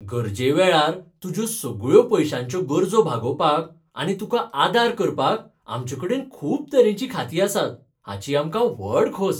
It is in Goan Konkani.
गरजेवेळार तुज्यो सगळ्यो पयश्यांचो गरजो भागोवपाक आनी तुका आदार करपाक आमचेकडेन खूब तरेचीं खातीं आसात, हाची आमकां व्हड खोस.